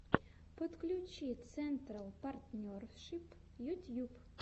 подключи централ партнершип ютьюб